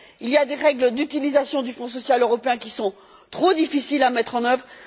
Il y a des règles d'utilisation du Fonds social européen qui sont trop difficiles à mettre en œuvre.